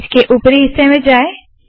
इसके उपरी हिस्से में जाए